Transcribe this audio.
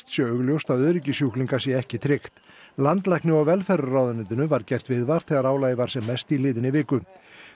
sé augljóst að öryggi sjúklinga sé ekki tryggt landlækni og velferðarráðuneytinu var gert viðvart þegar álagið var sem mest í liðinni viku